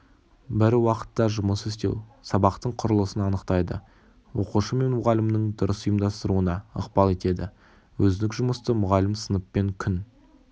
бір уақытта жұмыс істеу сабақтың құрылысын анықтайды оқушы мен мұғалімнің дұрыс ұйымдастыруына ықпал етеді өзіндік жұмысты мұғалім сыныппен күн